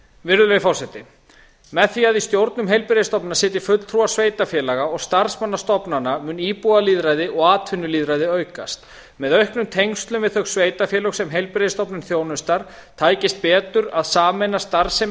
virðulegi forseti með því að í stjórnum heilbrigðisstofnana sitji fulltrúar sveitarfélaga og starfsmanna stofnananna mun íbúalýðræði og atvinnulýðræði aukast með auknum tengslum við þau sveitarfélög sem heilbrigðisstofnun þjónustar tækist betur að sameina starfsemi